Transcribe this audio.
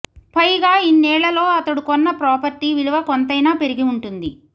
పైగా ఇన్నేళ్లలో అతడు కొన్న ప్రాపర్టీ విలువ కొంతైనా పెరిగి ఉంటుంది